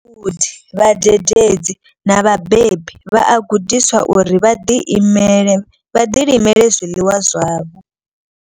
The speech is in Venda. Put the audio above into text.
Vhagudi, vhadededzi na vhabebi vha a gudiswa uri vha ḓi imele vha ḓi limele zwiḽiwa zwavho.